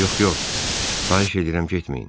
Yox, yox, xahiş edirəm getməyin.